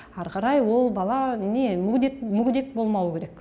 ары қарай ол бала мүгедек болмауы керек